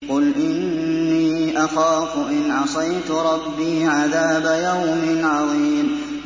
قُلْ إِنِّي أَخَافُ إِنْ عَصَيْتُ رَبِّي عَذَابَ يَوْمٍ عَظِيمٍ